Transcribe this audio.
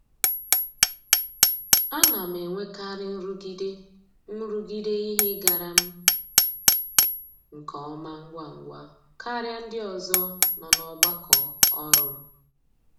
A na m enwekarị nrụgide nrụgide ihe ịgara m nke ọma ngwa ngwa karịa ndị ọzọ nọ n'ọgbakọ ọrụ m.